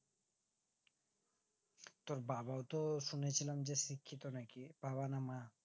তোর বাবাও তো শুনেছিলাম শিক্ষিত নাকি বাবা না মা